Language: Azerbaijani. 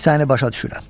Səni başa düşürəm.